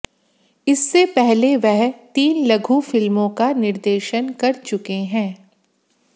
इससे पहले वह तीन लघु फिल्मोें का निर्देशन कर चुके हैं